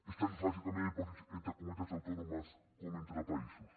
és tan fàcil canviar de dipòsits entre comunitats autònomes com entre països